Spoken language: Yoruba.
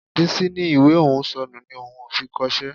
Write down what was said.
Bísí ní ìwé òun ò sọnù ni òun ò fi kọṣẹ́